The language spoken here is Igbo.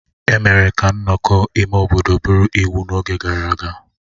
Emere ka nnọkọ ime obodo bụrụ iwu n'oge gara aga